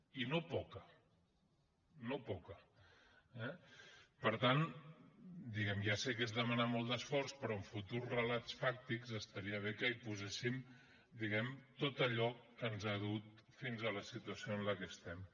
i no poca no poca eh per tant diguem ne ja sé que és demanar molt d’esforç però en futurs relats fàctics estaria bé que hi posessin tot allò que ens ha dut fins a la situació en la que estem